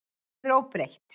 Það verður óbreytt.